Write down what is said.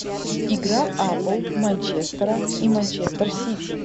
игра апл манчестера и манчестер сити